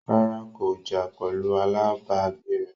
rárá, kò jà pẹ̀lu alábàágbé rẹ̀